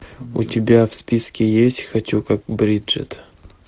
у тебя в списке есть хочу как бриджет